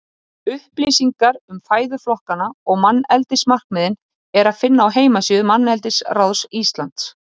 Upplýsingar um fæðuflokkana og manneldismarkmiðin er að finna á heimasíðu Manneldisráðs Íslands.